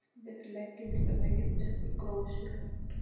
Við leggjum líka mikið upp úr gróusögum.